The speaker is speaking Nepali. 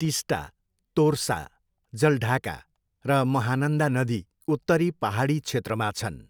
टिस्टा, तोर्सा, जलढाका र महानन्दा नदी उत्तरी पाहाडी क्षेत्रमा छन्।